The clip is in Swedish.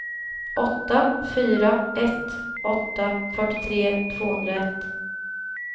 åtta fyra ett åtta fyrtiotre tvåhundraett